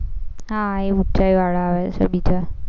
હા એ ઊંચાઈવાળા હોય છે બીજા